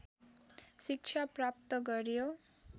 शिक्षा प्राप्त गर्‍यो